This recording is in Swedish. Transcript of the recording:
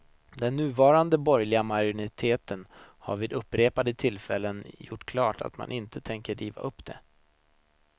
Den nuvarande borgerliga majoriteten har vid upprepade tillfällen gjort klart att man inte tänker riva upp det.